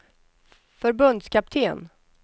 förbundskapten